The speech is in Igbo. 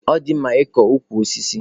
Ọ dị mma ịkọ ukwu osisi.